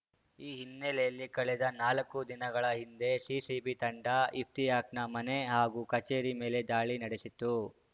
ಈ ಹಿನ್ನೆಯಲ್ಲಿ ಕಳೆದ ನಾಲ್ಕು ದಿನಗಳ ಹಿಂದೆ ಸಿಸಿಬಿ ತಂಡ ಇಫ್ತಿಯಾಕ್‌ನ ಮನೆ ಹಾಗೂ ಕಚೇರಿ ಮೇಲೆ ದಾಳಿ ನಡೆಸಿತ್ತು